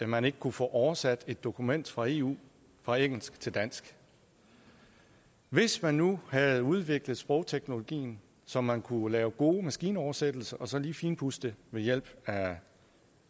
man ikke kunne få oversat et dokument fra eu fra engelsk til dansk hvis man nu havde udviklet sprogteknologien så man kunne lave gode maskinoversættelser og så lige finpudse dem ved hjælp